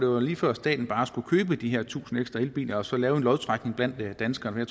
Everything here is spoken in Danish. var lige før staten bare skulle købe de her tusind ekstra elbiler og så lave en lodtrækning blandt danskerne